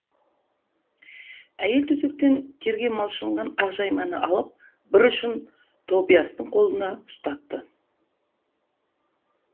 әйел төсектен терге малшынған ақжайманы алып бір ұшын тобиастың қолына ұстатты